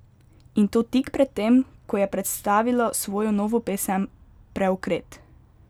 In to tik pred tem, ko je predstavila svojo novo pesem Preokret!